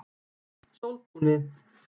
Sóltúni